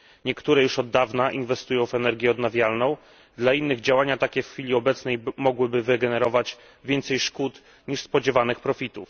Niektóre już od dawna inwestują w energię odnawialną, dla innych działania takie w chwili obecnej mogłyby przynieść więcej szkód niż spodziewanych korzyści.